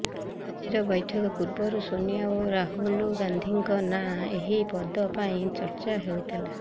ଆଜିର ବୈଠକ ପୂର୍ବରୁ ସୋନିଆ ଓ ରାହୁଲ ଗାନ୍ଧିଙ୍କ ନାଁ ଏହି ପଦ ପାଇଁ ଚର୍ଚ୍ଚା ହେଉଥିଲା